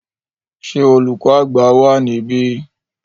Ṣé olùkọ́ àgbà wa níbí?